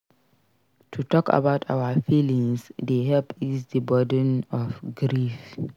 To talk about our feelings dey help ease di burden of grief.